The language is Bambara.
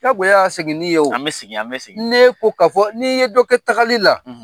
Jagoya ya segin ni ye wo. An bi sigin, an bi sigin . N'e ko ka fɔ , ni ye dɔ kɛ tagali la